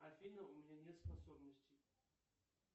афина у меня нет способности